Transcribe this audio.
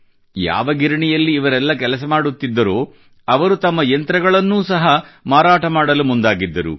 ಯಾವ ಗಿರಣಿಯಲ್ಲಿ ಇವರೆಲ್ಲ ಕೆಲಸ ಮಾಡುತ್ತಿದ್ದರೋ ಅವರು ತಮ್ಮ ಯಂತ್ರಗಳನ್ನು ಸಹ ಮಾರಾಟ ಮಾಡಲು ಮುಂದಾಗಿದ್ದರು